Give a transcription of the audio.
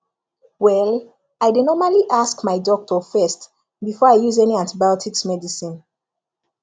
well i dey normally ask my doctor first before i use any antibiotics medicine